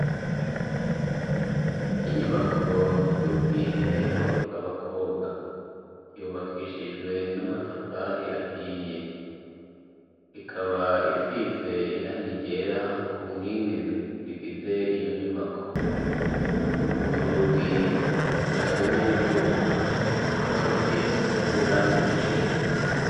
Inyubako y'ubwiherero bw'abakobwa yubakishijwe n'amatafari ahiye ikaba isize iranga irera ku nkingi zigize iyo nyubako urugi rukozwe n'ivyuma rukaba rusizwe n'iranga iryera.